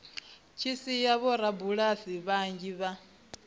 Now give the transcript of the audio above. tshi sia vhorabulasi vhanzhi vha